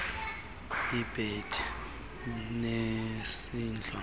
ibhedi nesidlo sakusasa